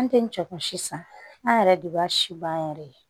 An tɛ cɛ kun si san an yɛrɛ de b'a si ban an yɛrɛ ye